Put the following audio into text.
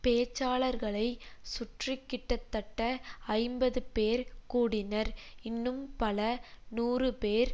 பேச்சாளர்களைச் சுற்றி கிட்டத்தட்ட ஐம்பது பேர் கூடினர் இன்னும் பல நூறு பேர்